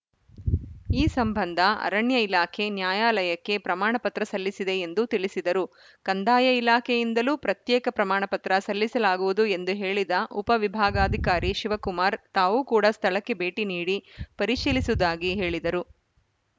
ಈ ಸಂಬಂಧ ಅರಣ್ಯ ಇಲಾಖೆ ನ್ಯಾಯಾಲಯಕ್ಕೆ ಪ್ರಮಾಣಪತ್ರ ಸಲ್ಲಿಸಿದೆ ಎಂದು ತಿಳಿಸಿದರು ಕಂದಾಯ ಇಲಾಖೆಯಿಂದಲೂ ಪ್ರತ್ಯೇಕ ಪ್ರಮಾಣಪತ್ರ ಸಲ್ಲಿಸಲಾಗುವುದು ಎಂದು ಹೇಳಿದ ಉಪ ವಿಭಾಗಾಧಿಕಾರಿ ಶಿವಕುಮಾರ್‌ ತಾವು ಕೂಡ ಸ್ಥಳಕ್ಕೆ ಭೇಟಿ ನೀಡಿ ಪರಿಶೀಲಿಸುವುದಾಗಿ ಹೇಳಿದರು